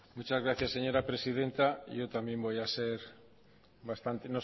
muchas gracias señora presidenta yo también voy a ser